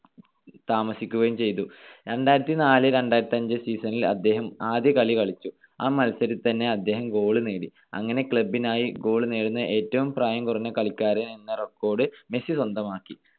താമസിക്കുകയും ചെയ്‌തു. രണ്ടായിരത്തിനാല് - രണ്ടായിരത്തിഅഞ്ച്‌ season ൽ അദ്ദേഹം ആദ്യ കളി കളിച്ചു. ആ മത്സരത്തില് തന്നെ അദ്ദേഹം goal നേടി. അങ്ങനെ club നായി goal നേടുന്ന ഏറ്റവും പ്രായം കുറഞ്ഞ കളിക്കാരൻ എന്ന record മെസ്സി സ്വന്തമാക്കി.